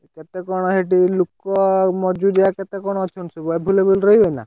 କେତେ କଣ ହେଟି ଲୁକ ଆଉ ମଜୁରିଆ କେତେ କଣ ଅଛନ୍ତି ସବୁ available ରହିବେ ନା?